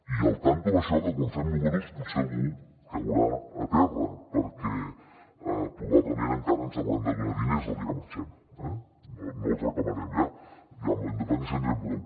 i compte amb això que quan fem números potser algú caurà a terra perquè probablement encara ens hauran de donar diners el dia que marxem eh no els reclamarem ja amb la independència en tindrem prou